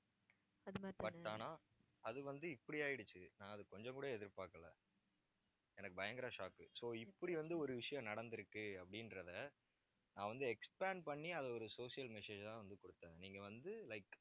but ஆனா அது வந்து, இப்படி ஆயிடுச்சு. நான் அதுக்கு கொஞ்சம் கூட எதிர்பார்க்கல எனக்கு பயங்கர shock so இப்படி வந்து, ஒரு விஷயம் நடந்திருக்கு அப்படின்றதை நான் வந்து expand பண்ணி அதை ஒரு social message ஆ வந்து கொடுத்தேன். நீங்க வந்து like